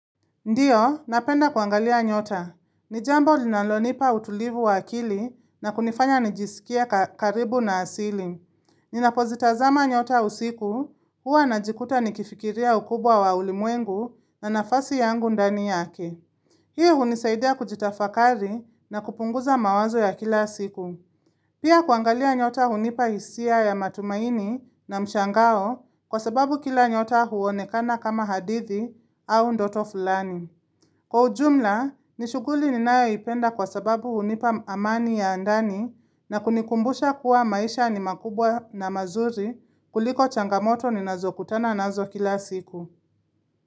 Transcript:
Ndiyo, napenda kuangalia nyota. Ni jambo linalo nipa utulivu wa akili na kunifanya nijisikie karibu na asili. Ninapozita zama nyota usiku, huwa najikuta nikifikiria ukubwa wa ulimwengu na nafasi yangu ndani yake. Hii hunisaidia kujitafakari na kupunguza mawazo ya kila siku. Pia kuangalia nyota hunipa hisia ya matumaini na mshangao kwa sababu kila nyota huonekana kama hadithi au ndoto fulani. Kwa ujumla, nishughuli ninayaipenda kwa sababu hunipa amani ya ndani na kunikumbusha kuwa maisha ni makubwa na mazuri kuliko changamoto ninazo kutana nazo kila siku.